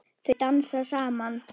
Þau dansa saman.